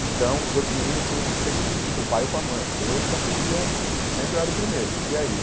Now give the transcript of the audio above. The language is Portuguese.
Então, os outros meninos tinham que sempre pedir para o pai ou para a mãe, eu já podia, sempre eu era o primeiro, podia ir.